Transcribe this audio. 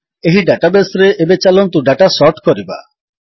ଏହି ଡାଟାବେସ୍ ରେ ଏବେ ଚାଲନ୍ତୁ ଡାଟା ସର୍ଟ କରିବା